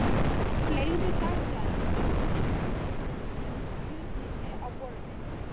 Hún fleygði dagblaðinu með fréttinni um Hjördísi á borðið.